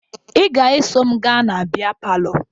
Ị ga-eso m gaa na bịa palọ